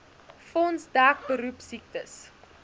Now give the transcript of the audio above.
fonds dek beroepsiektes